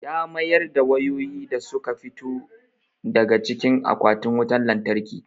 Ya mayar da wayoyin da su ka fito daga cikin akwatin wutan lantarki.